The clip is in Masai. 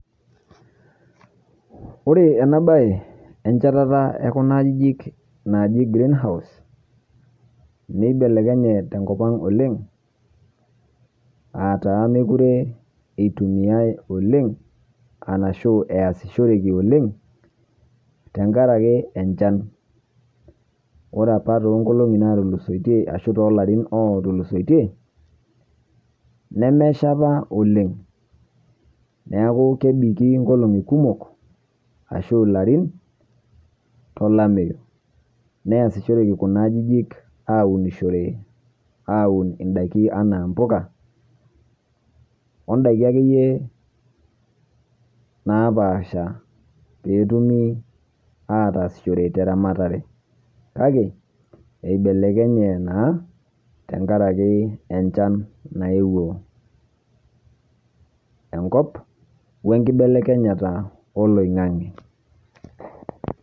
Ore ena baye enchatata e kuna ajijik naaji greenhouse nibelekenye tenkop ang' oleng' a taa mekure itumiai oleng' arashu easishoreki oleng' tenkaraki enchan. Ore apa too nkolong'i natulusoitie ashu too larin otulusoitie nemesha apa oleng', neeku kebiki nkolong'i kumok ashu ilarin tolameyu neasishoreki kuna ajijik aunishore aun ndaiki enaa mpuka o ndaiki akeyie napaasha peetumi ataashishore te ramatare. Kake eibelekenye naa tenkaraki enchan nayeuo enkop we nkibelekenyata oloing'ang'e.